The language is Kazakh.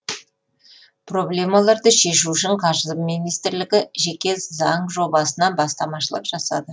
проблемаларды шешу үшін қаржы министрлігі жеке заң жобасына бастамашылық жасады